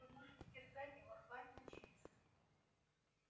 вы можете терзать его рвать на части